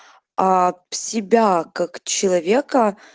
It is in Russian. аа в себя как человека